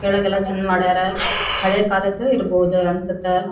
ಕೆಳಗೆಲ್ಲ ಚಂದ್ ಮಾಡ್ಯಾರ ಹಳೆ ಕಾಲದ್ ಇರ್ಬಹುದು ಅನ್ಸುತ್.